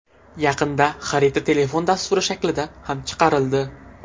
Yaqinda xarita telefon dasturi shaklida ham chiqarildi.